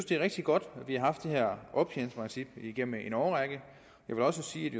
det er rigtig godt at vi har haft det her optjeningsprincip igennem en årrække jeg vil også sige at